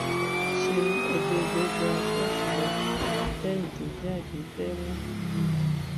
ṣéun ẹgbẹgbẹ gbà ṣọọṣì lọ lẹyìn tó jáde lẹwọn